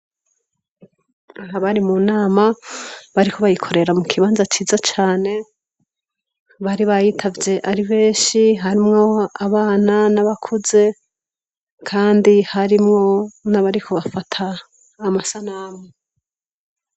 Abari mu nama bariko bayikorera mu kibanza ciza cane bari bayitavye ari benshi harimwo abana n' abakuze kandi harimwo n' abariko bafata amasanamu.